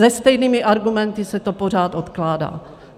Se stejnými argumenty se to pořád odkládá.